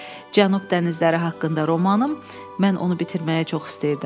Cənub dənizləri haqqında romanım mən onu bitirməyi çox istəyirdim.